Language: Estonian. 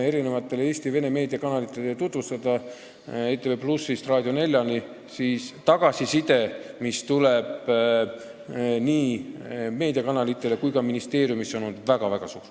Eelmisel nädalal oli mul ja mitmel minu kolleegil kohustus ja võimalus seda teemat tutvustada Eesti vene meedia kanalitele ETV+-ist Raadio 4-ni.